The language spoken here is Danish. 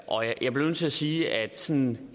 og jeg bliver nødt til at sige at de sådan